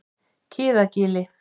Kiðagili